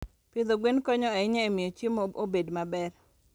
Pidho gwen konyo ahinya e miyo chiemo obed maber.